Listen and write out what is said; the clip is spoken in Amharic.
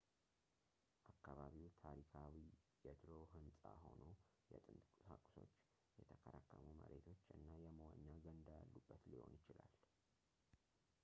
አካባቢው ታሪካዊ የድሮ ህንፃ ሆኖ የጥንት ቁሳቁሶች የተከረከሙ መሬቶች እና የመዋኛ ገንዳ ያሉበት ሊሆን ይችላል